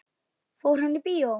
Fór hann í bíó?